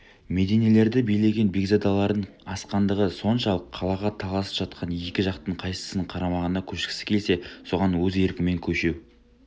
мединелерді билеген бекзадалардың асқандығы соншалық қалаға таласып жатқан екі жақтың қайсысының қарамағына көшкісі келсе соған өз еркімен көше